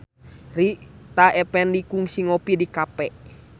Rita Effendy kungsi ngopi di cafe